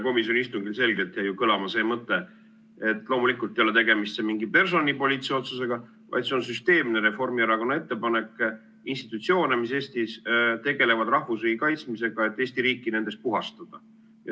Komisjoni istungil jäi selgelt kõlama see mõte, et loomulikult ei ole tegemist mingi personalipoliitilise otsusega, vaid see on süsteemne Reformierakonna ettepanek, et nendest institutsioonidest, mis Eestis tegelevad rahvusriigi kaitsmisega, Eesti riik puhastada.